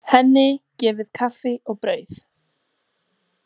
Henni gefið kaffi og brauð.